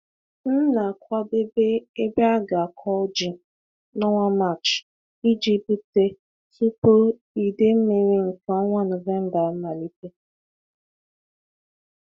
M na-akwadebe ebe a ga-akụ ji n'ọnwa Maachi iji gbute tupu ide mmiri nke ọnwa November amalite.